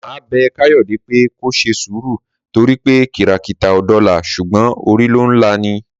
Màá bẹ̀ Káyọ̀dé pé kó ṣe sùúrù torí pé kìrakìtà ò dọlà ṣùgbọ́n orí ló ń lá ni